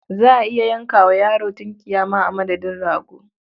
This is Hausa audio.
Za a iya yanka wa yaro tunkiya ma a madadin rago.